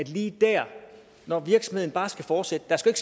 lige dér når virksomheden bare skal fortsætte der skal